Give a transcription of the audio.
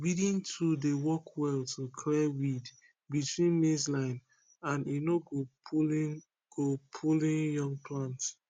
weeding tool dey work well to clear weed between maize line and e no go pulling go pulling young plant